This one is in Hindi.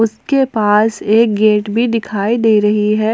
उसके पास एक गेट भी दिखाई दे रही है।